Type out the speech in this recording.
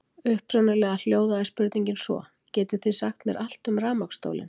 Upprunalega hljóðaði spurningin svo: Getið þið sagt mér allt um rafmagnsstólinn?